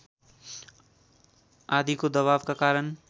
आदिको दबावका कारण